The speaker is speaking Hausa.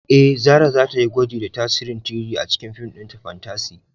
Eh, Zarah za ta yi gwaji da tasirin 3-D a cikin fim ɗinta fantasy